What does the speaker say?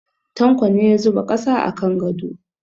Tanko ne ya zuba ƙasa a kan gado.